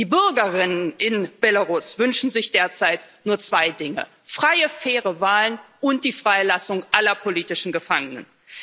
Die Bürgerinnen und Bürger in Belarus wünschen sich derzeit nur zwei Dinge freie faire Wahlen und die Freilassung aller politischen Gefangenen.